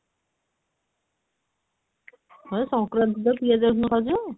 ହଁ ଯେ ସଙ୍କ୍ରାନ୍ତି ତ ପିଆଜ ରସୁଣ ଖାଉଛ?